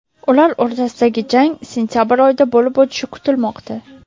Ular o‘rtasidagi jang sentabr oyida bo‘lib o‘tishi kutilmoqda.